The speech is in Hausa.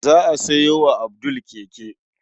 Za a sayo wa Abdul keke.